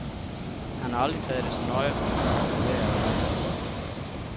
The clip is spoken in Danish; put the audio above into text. Han har aldrig taget det så nøje, om han var populær eller ej.